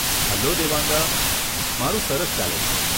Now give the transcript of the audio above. Hello Devanga, મારું સરસ ચાલે છે.